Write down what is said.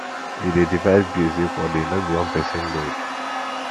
we dey divide bills equally no be one pesin load